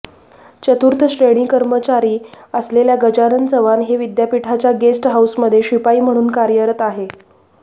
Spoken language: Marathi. चतुर्थश्रेणी कर्मचारी असलेल्या गजानन चव्हाण हे विद्यापीठाच्या गेस्ट हाऊसमध्ये शिपाई म्हणून कार्यरत आहे